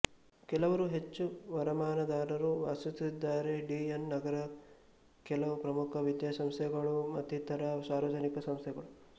ಕೆಲವರು ಹೆಚ್ಚು ವರಮಾನದಾರರೂ ವಾಸಿಸುತ್ತಿದ್ದಾರೆ ಡಿ ಎನ್ ನಗರದ ಕೆಲವು ಪ್ರಮುಖ ವಿದ್ಯಾಸಂಸ್ಥೆಗಳುಮತ್ತಿತರ ಸಾರ್ವಜನಿಕ ಸಂಸ್ಥೆಗಳು